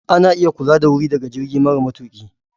Ana iya kula da wuri daga jirgi mara matuƙi.